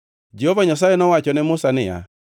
Jehova Nyasaye nowacho ne Musa niya,